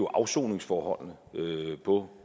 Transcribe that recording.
afsoningsforholdene på